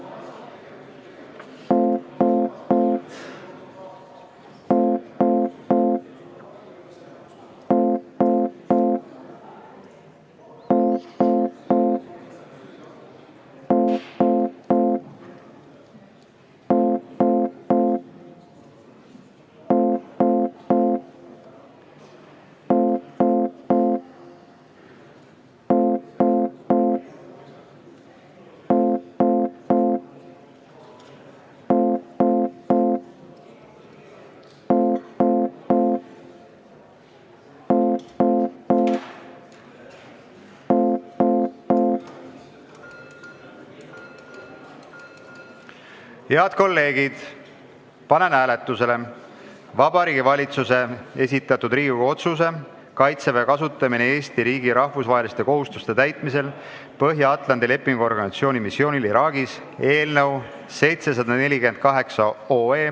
Head kolleegid, panen hääletusele Vabariigi Valitsuse esitatud Riigikogu otsuse "Kaitseväe kasutamine Eesti riigi rahvusvaheliste kohustuste täitmisel Põhja-Atlandi Lepingu Organisatsiooni missioonil Iraagis" eelnõu 748.